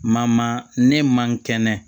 Ma ma ne man kɛnɛ